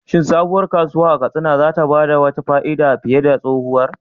Shin sabuwar kasuwa a Katsina za ta ba da wata fa'ida fiye da tsohuwar?